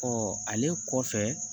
ale kɔfɛ